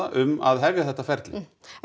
um að hefja þetta ferli en